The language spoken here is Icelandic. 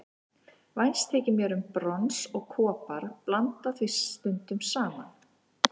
Vænst þykir mér um brons og kopar, blanda því stundum saman.